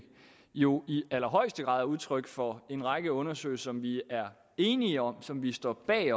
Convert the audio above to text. jo i allerhøjeste grad er udtryk for en række undersøgelser som vi er enige om og som vi står bag